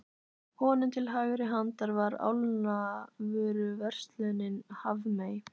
Honum til hægri handar var álnavöruverslunin Hafmey.